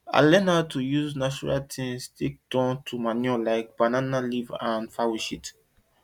i learn how to use natural things take turn to manure like banana leaves and fowl shit